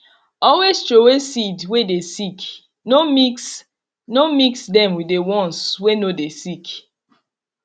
always throway seed way dey sick no mix no mix dem with the ones way no dey sick